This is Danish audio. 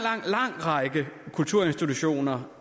lang række kulturinstitutioner